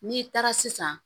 N'i taara sisan